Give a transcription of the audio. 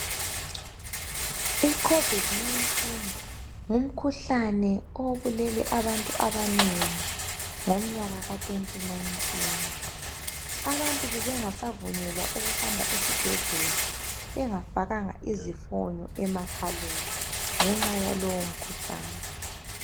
I COVID 19 ngumkhuhlane obulele abantu abanengi ngomnyaka ka 2019. Abantu bebengasavunyelwa ukuhamba esibhendlela bengafakanga izifonyo emakhaleni ngenxa yalowo mkhuhlane